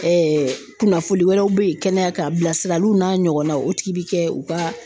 kunnafoni wɛrɛ be yen kɛnɛya k'an, bilasiraliw n'a ɲɔgɔnnaw o tigi bi kɛ u ka